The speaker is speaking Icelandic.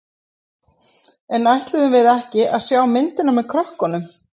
En ætluðum við ekki að sjá myndina með krökkunum?